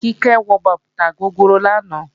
Kíkẹ́ wọ bàtà gogoro lánàá